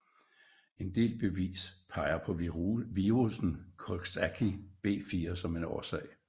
En del bevis peger på virussen Coxsackie B4 som en årsag